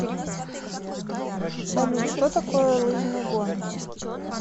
салют что такое лыжные гонки